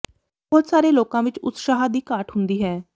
ਬਹੁਤ ਸਾਰੇ ਲੋਕਾਂ ਵਿੱਚ ਉਤਸ਼ਾਹ ਦੀ ਘਾਟ ਹੁੰਦੀ ਹੈ